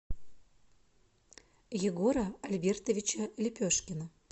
егора альбертовича лепешкина